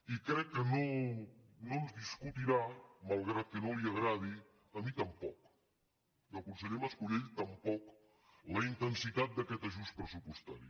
i crec que no ens discutirà malgrat que no li agradi a mi tampoc i al conseller mas colell tampoc la intensitat d’aquest ajust pressupostari